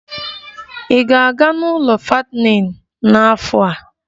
Ị ga-aga n'ụlọ fattening n'afọ a?